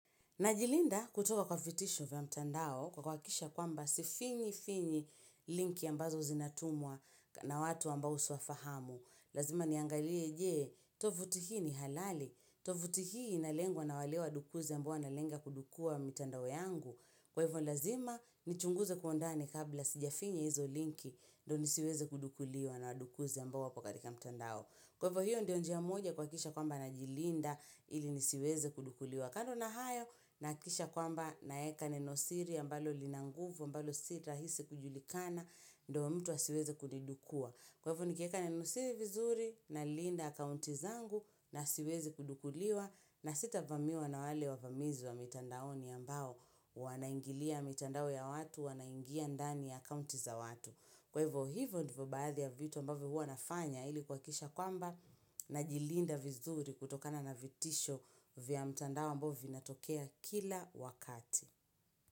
Najilinda kutoka kwa vitisho vya mtandao kwa kuhakikisha kwamba sifinyi finyi linki ambazo zinatumwa na watu ambao siwafahamu. Lazima niangalie jee, tovuti hii ni halali, tovuti hii inalengwa na walewa adukuzi ambao wanalenga kudukua mtandao yangu. Kwa hivyo lazima, nichunguze kwa undani kabla sijafinya hizo linki ndo nisiweze kudukuliwa na wadukuzi ambao wako katika mtandao. Kwa hivyo hivyo ndio njia moja kwa kisha kwamba najilinda ili nisiweze kudukuliwa. Wakando na hayo nahakikisha kwamba na weka nenosiri ambalo linanguvu ambalo si rahisi kujulikana ndio mtu asiweze kulidukua. Kwa hivyo nikieka nenosiri vizuri na linda akaunti zangu na siwezi kudukuliwa na sita vamiwa na wale wa vamizi wa mitandaoni ambao wanaingilia mitandao ya watu wanaingia ndani akaunti za watu. Kwa hivyo hivyo ndivyo baadhi ya vitu ambavyo huwa nafanya ili kuhakikisha kwamba najilinda vizuri kutokana na vitisho vya mtandao ambao vina tokea kila wakati.